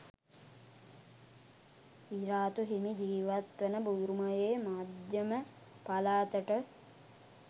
විරාතු හිමි ජීවත් වන බුරුමයේ මධ්‍යම පළාතට